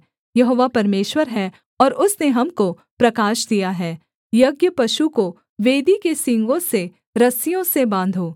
यहोवा परमेश्वर है और उसने हमको प्रकाश दिया है यज्ञपशु को वेदी के सींगों से रस्सियों से बाँधो